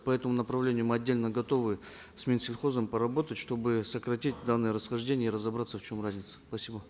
по этому направлению мы отдельно готовы с минсельхозом поработать чтобы сократить данные расхождения и разобраться в чем разница спасибо